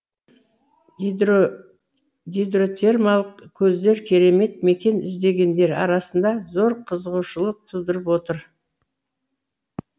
гидротермалық көздер керемет мекен іздегендер арасында зор қызығушылық тудырып отыр